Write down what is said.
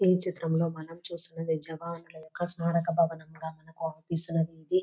ఈ చిత్రంలో మనము చూస్తున్నది జవానుల యొక్క స్మారక భవనం గ మనకి అవుపిస్తూన్నది ఇది.